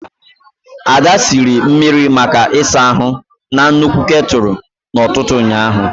Ada siri mmiri maka ịsa ahu na nnukwu ketulu ututu ụnyaahụ.